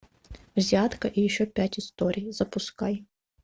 взятка и еще пять историй запускай